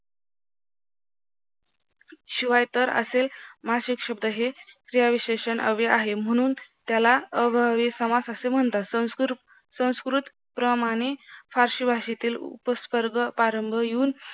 शिवाय तर असे मासिक शब्द हे क्रियाविशेषण अव्यय आहे म्हणून त्याला अव्ययभावी समास असे म्हणतात संस्कृत प्रमाणे फारसी भाषेतील उपस्वर्ग प्रारंभ येऊन